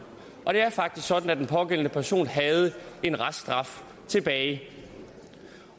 og det er faktisk sådan at den pågældende person havde en reststraf tilbage